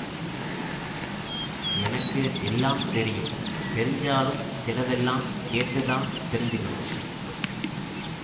எனக்கு எல்லாம் தெரியும் தெரிஞ்சாலும் சிலதெல்லாம் கேட்டுத்தான் தெரிஞ்சுக்கணும்